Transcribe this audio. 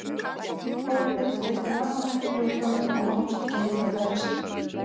Kolbeinn var einnig afar hættulegur frammi, en tókst ekki að nýta færi sín.